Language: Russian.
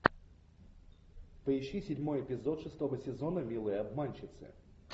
поищи седьмой эпизод шестого сезона милые обманщицы